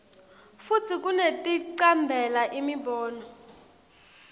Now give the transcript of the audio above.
futsi kunekuticambela imibono